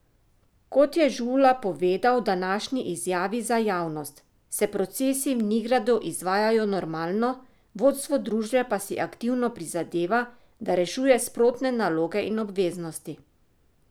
Kot je Žula povedal v današnji izjavi za javnost, se procesi v Nigradu izvajajo normalno, vodstvo družbe pa si aktivno prizadeva, da rešuje sprotne naloge in obveznosti.